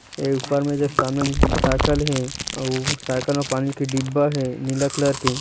ये ऊपर में जो समने म साईकिल हे अउ वो साईकिल में पानी के डिब्बा हे नीला कलर के --